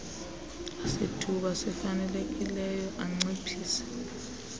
sithuba sifanelekileyo anciphise